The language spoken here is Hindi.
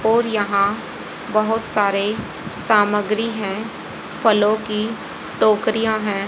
और यहां बहोत सारे सामग्री हैं फलों टोकरिया हैं।